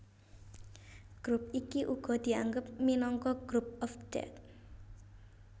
Grup iki uga dianggep minangka Group of Death